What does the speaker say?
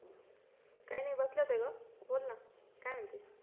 काही नाही बसले होते ग का बोल ना काय म्हणते,